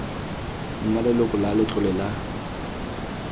nna leloko la letlole la